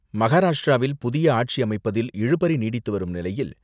மகாராஷ்டிராவில் புதிய ஆட்சி அமைப்பதில் இழுபறி நீடித்துவரும் நிலையில்,